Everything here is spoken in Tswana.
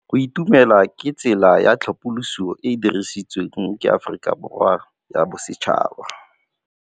Go itumela ke tsela ya tlhapolisô e e dirisitsweng ke Aforika Borwa ya Bosetšhaba.